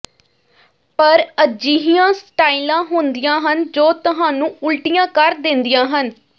ਪਰ ਅਜਿਹੀਆਂ ਸਟਾਈਲਾਂ ਹੁੰਦੀਆਂ ਹਨ ਜੋ ਤੁਹਾਨੂੰ ਉਲਟੀਆਂ ਕਰ ਦਿੰਦੀਆਂ ਹਨ